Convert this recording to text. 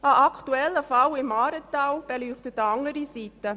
Ein aktueller Fall im Aaretal beleuchtet eine andere Seite.